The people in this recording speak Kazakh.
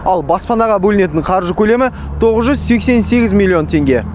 ал баспанаға бөлінетін қаржы көлемі тоғыз жүз сексен сегіз миллион теңге